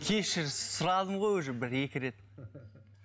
кешір сұрадым ғой уже бір екі рет